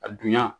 A dunya